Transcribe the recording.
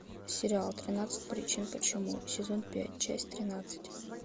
сериал тринадцать причин почему сезон пять часть тринадцать